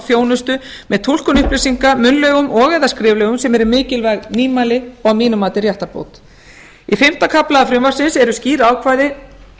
þjónustu með túlkun upplýsinga munnlegum og eða skriflegum sem eru mikilvæg nýmæli og að mínu mati réttarbót í fimmta kafla frumvarpsins eru skýr ákvæði